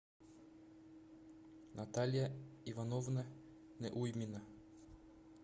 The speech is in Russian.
наталья ивановна неуймина